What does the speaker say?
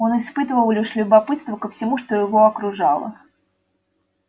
он испытывал лишь любопытство ко всему что его окружало